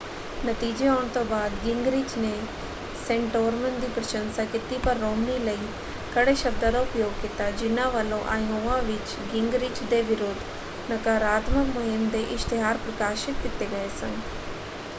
ਨਤੀਜੇ ਆਉਣ ਤੋਂ ਬਾਅਦ ਗਿੰਗਰੀਚ ਨੇ ਸੈਂਟੋਰਮ ਦੀ ਪ੍ਰਸ਼ੰਸਾ ਕੀਤੀ ਪਰ ਰੋਮਨੀ ਲਈ ਕੜ੍ਹੇ ਸ਼ਬਦਾਂ ਦਾ ਉਪਯੋਗ ਕੀਤਾ ਜਿਨ੍ਹਾਂ ਵੱਲੋਂ ਆਇਓਵਾ ਵਿੱਚ ਗਿੰਗਰੀਚ ਦੇ ਵਿਰੁੱਧ ਨਕਾਰਾਤਮਕ ਮੁਹਿੰਮ ਦੇ ਇਸ਼ਤਿਹਾਰ ਪ੍ਰਕਾਸ਼ਤ ਕੀਤੇ ਗਏ ਸਨ।